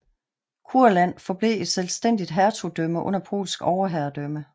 Kurland forblev et selvstændigt hertugdømme under polsk overherredømme